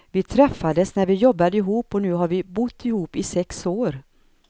Vi träffades när vi jobbade ihop och nu har vi bott ihop i sex år.